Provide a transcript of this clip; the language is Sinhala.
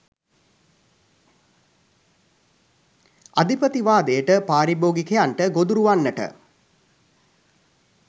අධිපතිවාදයට පාරිභෝගිකයන්ට ගොදුරු වන්නට